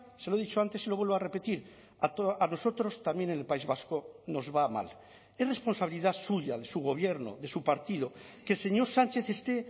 se lo he dicho antes y lo vuelvo a repetir a nosotros también en el país vasco nos va mal es responsabilidad suya de su gobierno de su partido que el señor sánchez esté